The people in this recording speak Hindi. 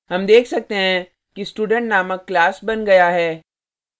हम देख सकते हैं कि student named class बन गया है